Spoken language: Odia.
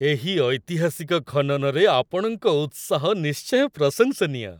ଏହି ଐତିହାସିକ ଖନନରେ ଆପଣଙ୍କ ଉତ୍ସାହ ନିଶ୍ଚୟ ପ୍ରଶଂସନୀୟ !